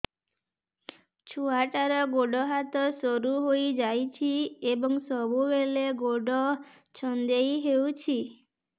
ଛୁଆଟାର ଗୋଡ଼ ହାତ ସରୁ ହୋଇଯାଇଛି ଏବଂ ସବୁବେଳେ ଗୋଡ଼ ଛଂଦେଇ ହେଉଛି